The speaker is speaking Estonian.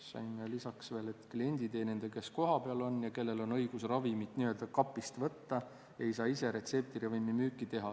Siis on lisaks veel, et klienditeenindaja, kes kohapeal on ja kellel on õigus ravimit n-ö kapist võtta, ei saa ise retseptiravimi müüki teha.